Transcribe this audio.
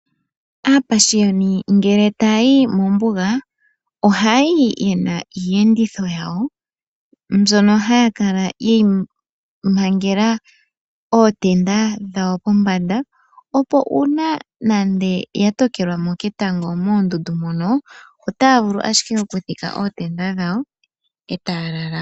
Aapashiyoni ngele tayayi mombuga oha yayi yena iiyenditho yayo mbyono haya kala yeyi mangela ootenda dhawo po pombanda, opo uuna nande oya tokelwamo ketango moondundu mono otaya vulu ashike oku dhika ootenda dhowo etaya lala.